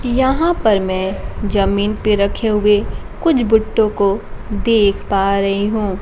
यहां पर मैं जमीन पे रखे हुए कुछ बुट्टो को देख पा रही हूं।